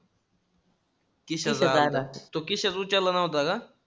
तो किशोर उचलला नव्हता का?